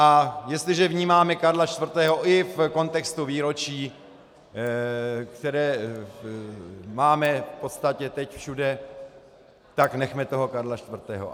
A jestliže vnímáme Karla IV. i v kontextu výročí, které máme v podstatě teď všude, tak nechme toho Karla IV.